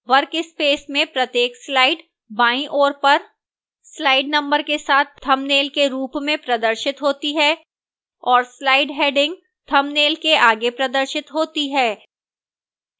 workspace में प्रत्येक slide बाईं ओर पर slide number के साथ thumbnail के रूप में प्रदर्शित होती है और slide heading thumbnail के आगे प्रदर्शित होती है